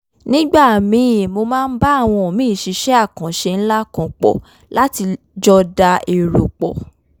nígbà míì mo máa ń bá àwọn míì ṣiṣẹ́ àkànṣe ńlá pọ̀ láti jọ da èrò pọ̀